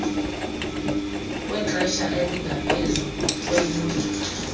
wexesha elingaphezu kweeyure